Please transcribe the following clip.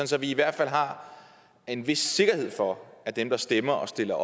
så vi i hvert fald har en vis sikkerhed for at dem der stemmer og stiller